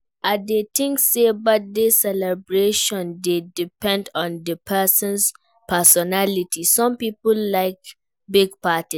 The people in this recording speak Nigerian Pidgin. I dey think say birthday celebration dey depend on di person's personality, some people like big parties.